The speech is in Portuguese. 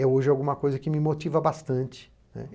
É hoje alguma coisa que me motiva bastante.